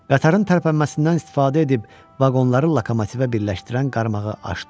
Qatarın tərpənməsindən istifadə edib vaqonları lokomotivə birləşdirən qarmağı açdı.